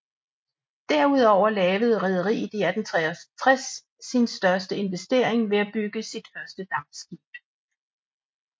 Derudover lavede rederiet i 1863 sin største investering ved at bygge sit første dampskib